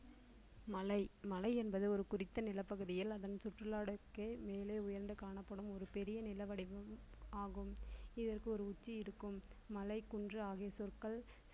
மலை மலை என்பது ஒரு குறித்த நிலப்பகுதியில் அதன் சுற்றுலாடத்துக்கே மேலே உயர்ந்து காணப்படும் ஒரு பெரிய நில வடிவம் ஆகும் இதற்கு ஒரு உச்சி இருக்கும் மலை குன்று ஆகிய சொற்கள்